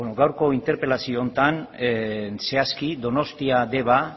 gaurko interpelazio honetan zehazki donostia deba